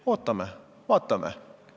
Ootame, vaatame.